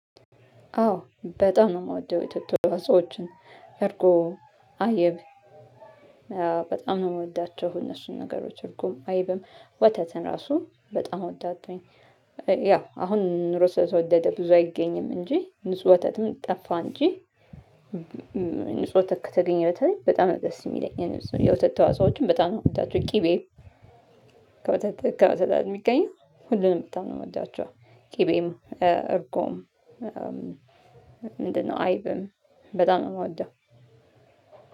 አዎ በጣም ነው የምወደው የወተት አስተዋፅኦችን እርጎ አይብ። በጣም ነው የምወዳቸው እነሱን ነገሮች እርጎም አይብም ወተትን ራሱ በጣም እወዳለሁኝ። ያው አሁን ኑሮ ስለተወደደ ብዙ አይገኝም እንጂ ንጹህ ወተትም ጠፋ እንጂ። ንጹህ ወተት ከተገኘ በተለይ በጣም ነው ደስ የሚለኝ። የወተት ተዋጽኦዎችን በጣም ነው የምወዳቸው። ቅቤ። ከወተት የሚገኘው ሁሉንም ብጣም ነው የምወዳቸው። ቅቤም እርጎም ምንድነው? አይብም በጣም ነው ምወደው።